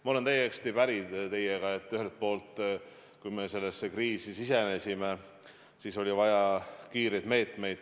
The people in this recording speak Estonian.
Ma olen täiesti päri teiega, et kui me sellesse kriisi sisenesime, siis oli vaja kiireid meetmeid.